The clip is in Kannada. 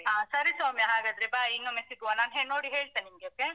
ಹಾ ಸರಿ ಸೌಮ್ಯ ಹಾಗಾದ್ರೆ bye ಇನ್ನೊಮ್ಮೆ ಸಿಗುವ ನಾನ್ ನೋಡಿ ಹೇಳ್ತೇನೆ ನಿಮ್ಗೆ okay .